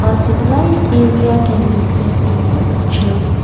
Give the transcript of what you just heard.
a civilised area can be seen in the picture.